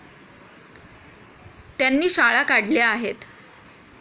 त्यांनी शाळा काढल्या आहेत.